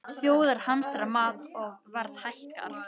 Þjóðir hamstra mat og verð hækkar